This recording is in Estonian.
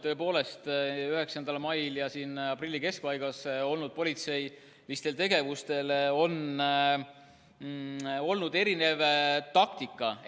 Tõepoolest oli politsei tegevuses 9. mail ja aprilli keskpaigas erinev taktika.